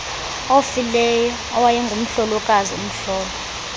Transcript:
ofileyo owayengumhlolokazi umhlolo